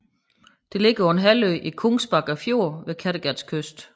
Det ligger på en halvø i Kungsbacka Fjord ved Kattegats kyst